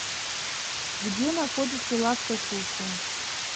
где находится лавка суши